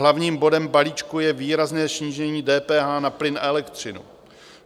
Hlavním bodem balíčku je výrazné snížení DPH na plyn a elektřinu.